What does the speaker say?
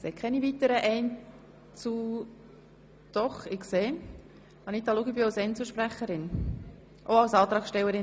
Es haben sich keine weiteren Einzelsprecher gemeldet.